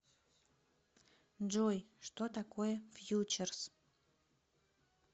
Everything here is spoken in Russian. джой что такое фьючерс